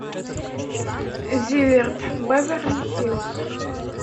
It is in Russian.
зиверт беверли хиллз